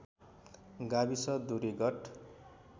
गाविस दूरी गत